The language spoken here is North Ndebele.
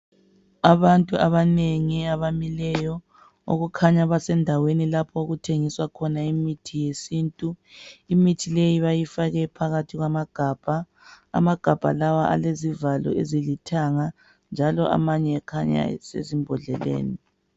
Abantu abanengi abamile okukhanya basendaweni lapho okutshengiswa khona imithi yesintu. Imithi leyi bayifake phakhathi kwamagabha. Amagabha lawa alezivalo ezilithanga njalo amanye ekhanya r sezibhodleleni.